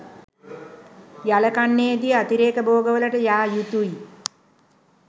යල කන්නයේදී අතිරේක භෝගවලට යා යුතුයි